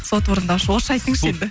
сот орындаушы орысша айтыңызшы енді